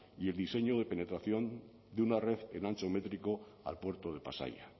y el diseño de penetración de una red en ancho métrico al puerto de pasaia